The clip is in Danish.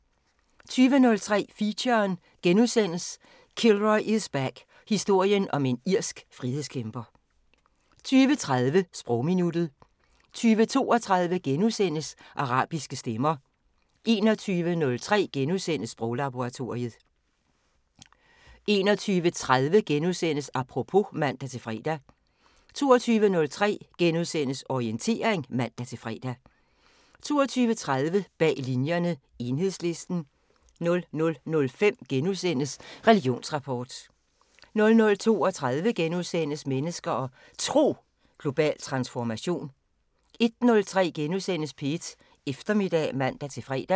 20:03: Feature: Kilroy is back – Historien om en irsk frihedskæmper * 20:30: Sprogminuttet 20:32: Arabiske stemmer * 21:03: Sproglaboratoriet * 21:30: Apropos *(man-fre) 22:03: Orientering *(man-fre) 22:30: Bag Linjerne – Enhedslisten 00:05: Religionsrapport * 00:32: Mennesker og Tro: Global transformation * 01:03: P1 Eftermiddag *(man-fre)